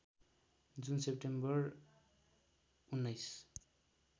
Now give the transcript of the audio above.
जुन सेप्टेम्बर १९